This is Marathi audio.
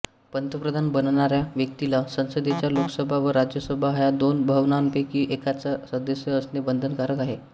पंतप्रधान बनणाऱ्या व्यक्तीला संसदेच्या लोकसभा व राज्यसभा ह्या दोन भवनांपैकी एकाचा सदस्य असणे बंधनकारक आहे